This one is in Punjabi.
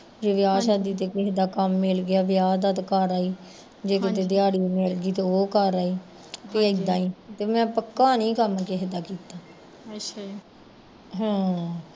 ਜੇ ਵਿਆਹ ਸ਼ਾਦੀ ਤੇ ਕਿਸੇ ਦਾ ਕੰਮ ਮਿਲ ਗਿਆ ਤੇ ਕਰ ਆਈ, ਜੇ ਕਿਤੇ ਦਿਆੜੀ ਮਿਲ ਗਈ ਤੇ ਉਹ ਕਰ ਆਈ ਤੇ ਇੱਦਾਂ ਈ ਤੇ ਮੈਂ ਪੱਕਾ ਨੀ ਕੰਮ ਕਿਸੇ ਦਾ ਕੀਤਾ ਹਾਂ